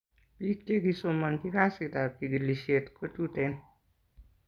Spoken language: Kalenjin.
pik che kisomachi kazit ab chikilishet kotuten